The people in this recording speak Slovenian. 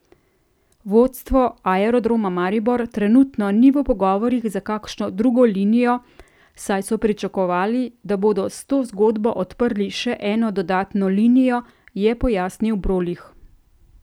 Vodstvo Aerodroma Maribor trenutno ni v pogovorih za kakšno drugo linijo, saj so pričakovali, da bodo s to zgodbo odprli še eno dodatno linijo, je pojasnil Brolih.